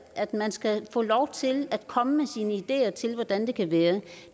at man skal få lov til at komme med sine ideer til hvordan det kan blive